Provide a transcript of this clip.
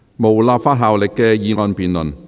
無立法效力的議案辯論。